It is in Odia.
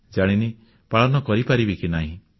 ଜାଣିନି ପାଳନ କରିପାରିବି କି ନାହିଁ